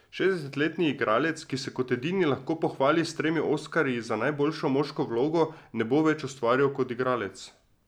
Šestdesetletni igralec, ki se kot edini lahko pohvali s tremi oskarji za najboljšo moško vlogo, ne bo več ustvarjal kot igralec.